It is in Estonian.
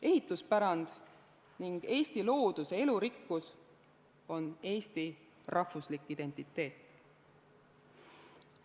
Ehituspärand ning Eesti looduse elurikkus on eesti rahvuslik identiteet.